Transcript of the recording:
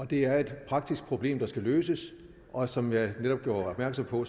det er et praktisk problem der skal løses og som jeg netop gjorde opmærksom på